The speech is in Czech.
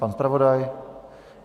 Pan zpravodaj?